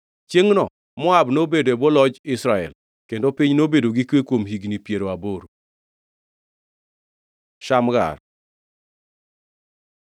Chiengʼno Moab nobedo e bwo loch Israel, kendo piny nobedo gi kwe kuom higni piero aboro. Shamgar